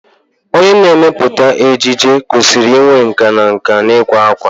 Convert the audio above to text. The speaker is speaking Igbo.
Onye na-emepụta ejiji kwesịrị inwe nkà na nkà n'ịkwa akwa.